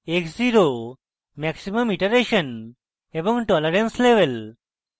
maximum iteration এবং tolerance level